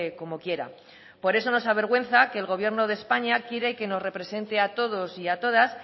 como quiera por eso nos avergüenza que el gobierno de españa quiere que nos represente a todos y a todas